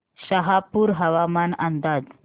शहापूर हवामान अंदाज